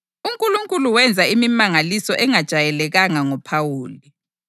UNkulunkulu wenza imimangaliso engajayelekanga ngoPhawuli,